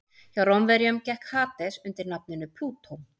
Hjá Rómverjum gekk Hades undir nafninu Plútó.